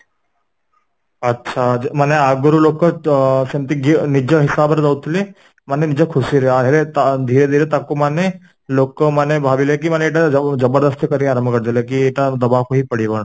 ଆଛା, ମାନେ ଆଗରୁ ଲୋକ ତ ସେମିତି ନିଜ ହିସାବରେ ଦଉଥିଲେ ମାନେ ନିଜ ଖୁସିରେ ତା ଧୀରେ ଧୀରେ ତାକୁ ମାନେ ଲୋକ ମାନେ ଭାବିଲେ କି ମାନେ ଜବରଦସ୍ତି କରିବା ଆରମ୍ଭ କରିଦେଲେ କି ଏଟା ଦେବାକୁ ହିଁ ପଡିବ